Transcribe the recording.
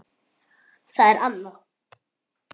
Það er Anna.